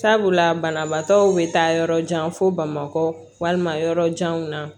Sabula banabaatɔw bɛ taa yɔrɔ jan fo bamakɔ walima yɔrɔ janw na